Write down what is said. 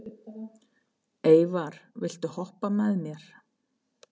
Eyvar, viltu hoppa með mér?